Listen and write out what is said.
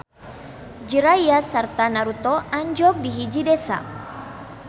Jiraiya sarta Naruto anjog di hiji desa.